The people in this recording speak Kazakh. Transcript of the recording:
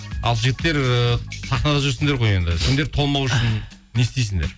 ал жігіттер ііі сахнада жүрсіңдер ғой енді сендер толмау үшін не істейсіңдер